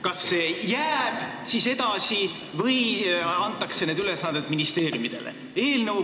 Kas see jääb siis edasi või antakse need ülesanded ministeeriumidele?